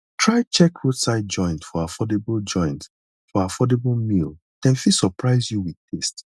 try check roadside joint for affordable joint for affordable meal dem fit surprise you with taste